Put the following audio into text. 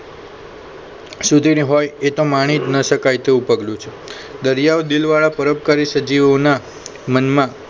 સુધીની હોય એ તો માનીજ ન શકાય તેવું પગલું છે દરિયાઓ દિલવાળા પરોપકારી સજીવોના મનમાં